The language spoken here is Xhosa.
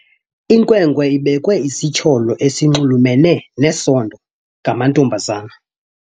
Inkwenkwe ibekwe isityholo esinxulumene nesondo ngamantombazana.